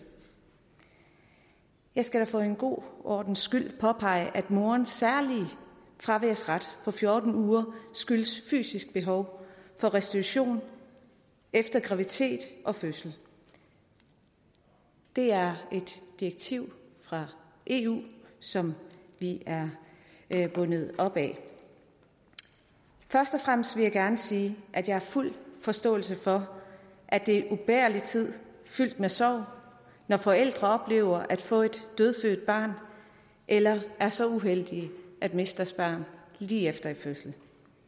jeg skal for en god ordens skyld påpege at morens særlige fraværsret på fjorten uger skyldes fysisk behov for restitution efter graviditet og fødsel det er et direktiv fra eu som vi er bundet af først og fremmest vil jeg gerne sige at jeg har fuld forståelse for at det er en ubærlig tid fyldt med sorg når forældre oplever at få et dødfødt barn eller er så uheldige at miste deres barn lige efter en fødsel